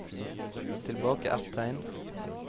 Tilbake ett tegn